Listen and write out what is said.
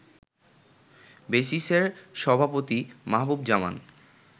বেসিস-এর সভাপতি মাহবুব জামান